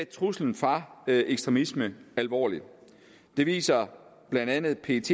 truslen fra ekstremisme alvorligt det viser blandt andet pets